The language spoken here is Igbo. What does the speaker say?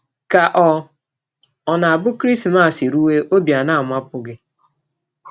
Ka ọ̀ ọ̀ na - abụ Krismas rụwe, ọbi ana - amapụ gị?